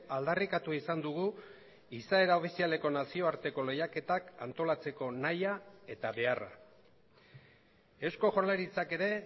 aldarrikatu izan dugu izaera ofizialeko nazioarteko lehiaketak antolatzeko nahia eta beharra eusko jaurlaritzak ere